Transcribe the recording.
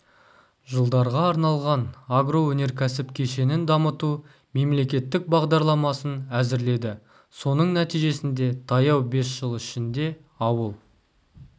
жылдарға арналған агроөнеркәсіп кешенін дамыту мемлекеттік бағдарламасын әзірледі соның нәтижесінде таяу бес жыл ішінде ауыл